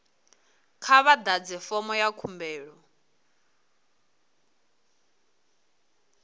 kha vha ḓadze fomo dza khumbelo